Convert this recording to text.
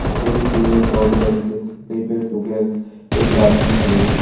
हरे भरे पेड़ पौधे लगे रखे कही पे सूखे रखे एक गार्डन दिखाई दे रहा--